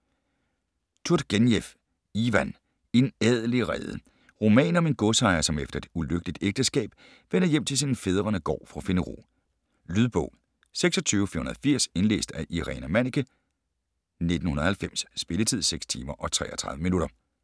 Turgenev, Ivan: En adelig rede Roman om en godsejer som efter et ulykkeligt ægteskab vender hjem til sin fædrenegård for at finde ro. Lydbog 26480 Indlæst af Irina Manniche, 1990. Spilletid: 6 timer, 33 minutter.